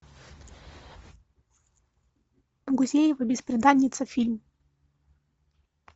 гузеева бесприданница фильм